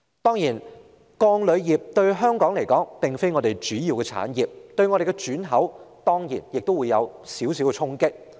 當然，鋼鋁業並非香港的主要產業，但對我們的轉口仍會有一點衝擊。